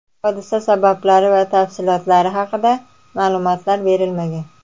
Hodisa sabablari va tafsilotlari haqida ma’lumotlar berilmagan.